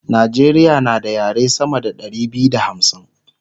Najeriya na da yare sama da Ɗari biyu da hamsin